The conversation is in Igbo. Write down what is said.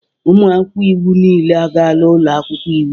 Ụmụ akwụkwọ iwu niile agaala ụlọ akwụkwọ iwu